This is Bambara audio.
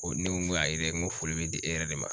O ne ko ayi dɛ n ko foli bɛ di e yɛrɛ de ma.